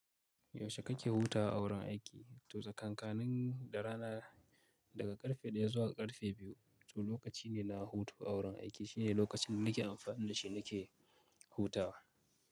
Yaushe kake hutawa a wurin aiki? To tsakankanin da rana, daga ƙarfe ɗaya zuwa ƙarfe biyu. To lokaci ne na hutu a wurin aiki shine lokacin da nake amfani da shi nake hutawa.